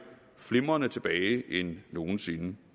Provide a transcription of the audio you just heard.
flimrende end nogen sinde